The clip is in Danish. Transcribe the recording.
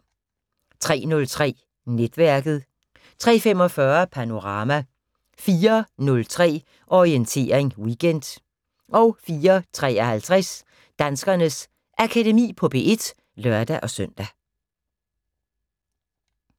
03:03: Netværket 03:45: Panorama 04:03: Orientering Weekend 04:53: Danskernes Akademi på P1 (lør-søn)